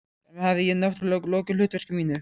Þar með hafði ég- náttúrlega- lokið hlutverki mínu.